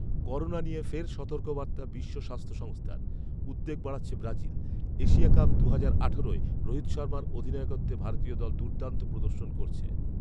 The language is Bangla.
করোনা নিয়ে ফের সতর্কবার্তা বিশ্ব স্বাস্থ্য সংস্থার। উদ্বেগ বাড়াচ্ছে ব্রাজিল। এশিয়া কাপ দুহাজার আঠারোয় রোহিত শর্মার অধিনায়কত্বে ভারতীয় দল দুর্দান্ত প্রদর্শন করছে